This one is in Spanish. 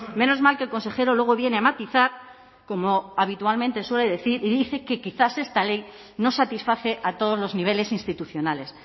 menos mal que el consejero luego viene a matizar como habitualmente suele decir y dice que quizás esta ley no satisface a todos los niveles institucionales